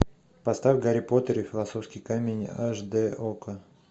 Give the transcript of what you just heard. поставь гарри поттер и философский камень аш д окко